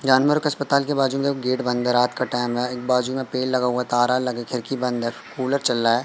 जानवर का अस्पताल के बाजू में अब गेट बंद है। रात का टाइम है। एक बाजू में पेड़ लगा हुआ है। तारा लगा खिड़की बंद है। कूलर चल रहा है।